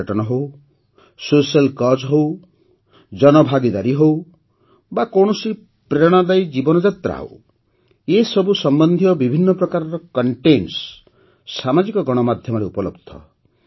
ପର୍ଯ୍ୟଟନ ହେଉ social cause ହେଉ ଜନଭାଗିଦାରୀ ହେଉ ବା କୌଣସି ପ୍ରେରଣାଦାୟୀ ଜୀବନଯାତ୍ରା ହେଉ ଏସବୁ ସମ୍ବନ୍ଧୀୟ ବିଭିନ୍ନ ପ୍ରକାରର କଣ୍ଟେଣ୍ଟସ୍ ସାମାଜିକ ଗଣମାଧ୍ୟମରେ ଉପଲବ୍ଧ